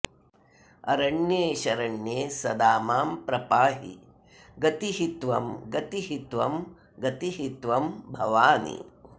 अरण्ये शरण्ये सदा मां प्रपाहि गतिः त्वं गतिः त्वं गतिः त्वं भवानि